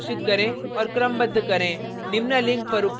number array घोषित करें और क्रमबद्ध करें